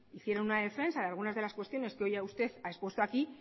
hicieron una defensa de algunas de las cuestiones que hoy usted ha expuesto aquí